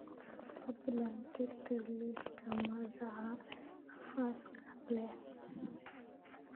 fadlan tirtir liiska magaca xaaska leh